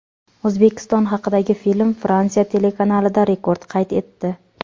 O‘zbekiston haqidagi film Fransiya telekanalida rekord qayd etdi.